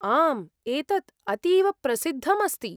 आम्, एतत् अतीव प्रसिद्धम् अस्ति।